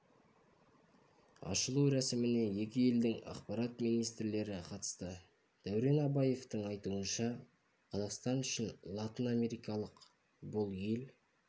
ашылу рәсіміне екі елдің ақпарат министрлері қатысты дәурен абаевтың айтуынша қазақстан үшін латынамерикалық бұл ел